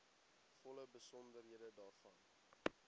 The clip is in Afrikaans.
volle besonderhede daarvan